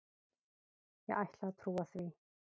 Ég ætla að trúa því.